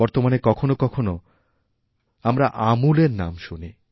বর্তমানে কখনও কখনও আমরাআমূলএর নাম শুনি